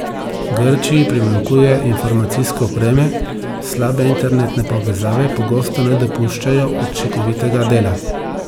Grčiji primanjkuje informacijske opreme, slabe internetne povezave pogosto ne dopuščajo učinkovitega dela.